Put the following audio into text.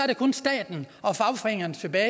der kun staten og fagforeningerne tilbage